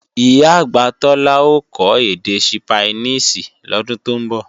Ìyá-àgbà Tọ́lá ó kọ́ èdè Sípáníìṣì lọ́dún tó ń bọ̀